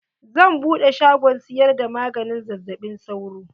Zan buɗe shagon siyar da maganin zazzaɓin sauro.